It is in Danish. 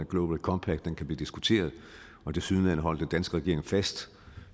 global compact kan blive diskuteret og tilsyneladende holder den danske regering fast